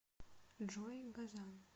джой газан